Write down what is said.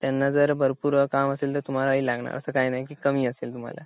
त्यांना जर भरपूर काम असेल तर तुम्हाला लागणार असं काही नाही कि कमी असेल तुम्हाला